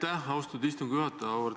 Aitäh, austatud istungi juhataja!